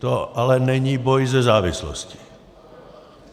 To ale není boj se závislostí.